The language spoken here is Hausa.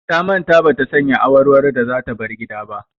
Ta manta ba ta sanya awarwaro da za ta bar gida ba.